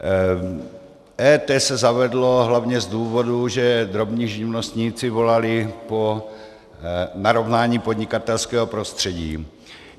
EET se zavedlo hlavně z důvodu, že drobní živnostníci volali po narovnání podnikatelského prostředí.